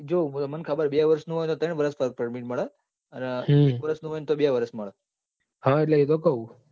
જો મને ખબર હે બે વર્ષ નું હોય તો ત્રણ વર્ષ work permit મળે અને એક વર્ષ નું હોય તો બે વર્ષ મળે એટલે એ તો કઉં છું.